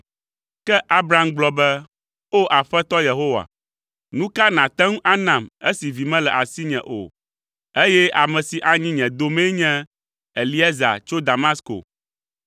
Ke Abram gblɔ be, “O, Aƒetɔ Yehowa, nu ka nàte ŋu anam esi vi mele asinye o, eye ame si anyi nye domee nye Eliezer tso Damasko?”